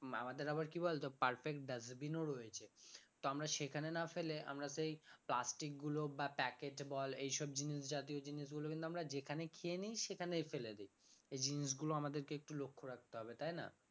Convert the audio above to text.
আমাদের আবার কি বলতো perfect dustbin ও রয়েছে তো আমরা সেখানে না ফেলে আমরা সেই plastic গুলো বা packet বল এই সব জিনিস জাতীয় জিনিস গুলো কিন্তু আমরা যেখানে খেয়ে নি সেখানেই ফেলে দি এই জিনিসগুলো আমাদের কে একটু লক্ষ্য রাখতে হবে তাই না?